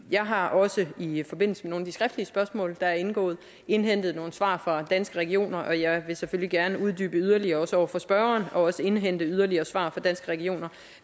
jeg har også i forbindelse med nogle af de skriftlige spørgsmål der er indgået indhentet nogle svar fra danske regioner og jeg vil selvfølgelig gerne uddybe yderligere over for spørgeren og også indhente yderligere svar fra danske regioner